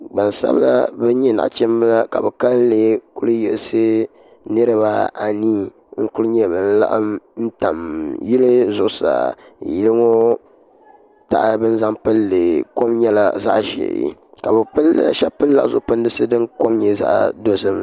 Gbansabla ban nyɛ nachimba ka bɛ kalili kuli yiɣisi niribaanii n kuli nyɛ ban laɣim n tam yili zuɣusaa yeŋɔ paɣaba ni zaŋ pindi kom nyɛla zaɣa ʒee sheba pilila zuɣu pindisi din kom nyɛ zaɣa dozim.